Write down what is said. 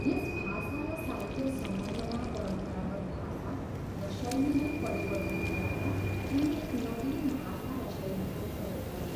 यस भाषा र साहित्य सम्बन्धमा परम्परागत भाषा र शैलीमै परिवर्तन ल्याएर उनले एक नवीन भाषा र शैलीको प्रयोग गरे।